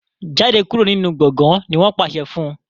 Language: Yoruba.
jáde kúrò nínú gboôgan! ní wón pàṣẹ fún.